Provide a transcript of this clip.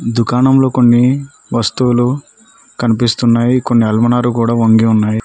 దుకాణంలో కొన్ని వస్తువులు కనిపిస్తున్నాయి కొన్ని అల్మరాలు కూడా వంగి ఉన్నాయి.